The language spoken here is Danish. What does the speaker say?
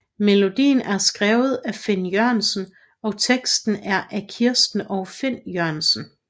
Melodien er skrevet af Finn Jørgensen og teksten er af Kirsten og Finn Jørgensen